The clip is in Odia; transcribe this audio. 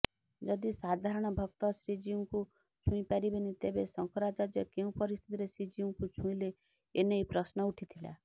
ଯଦି ସାଧାରଣ ଭକ୍ତ ଶ୍ରୀଜିଉଙ୍କୁ ଛୁଇଁପାରିବେନି ତେବେ ଶଙ୍କରାଚାର୍ଯ୍ୟ କେଉଁ ପରିସ୍ଥିତିରେ ଶ୍ରୀଜିଉଙ୍କୁ ଛୁଇଁଲେ ଏନେଇ ପ୍ରଶ୍ନ ଉଠିଥିଲା